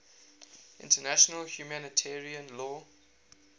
international humanitarian law